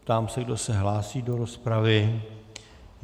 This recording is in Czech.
Ptám se, kdo se hlásí do rozpravy.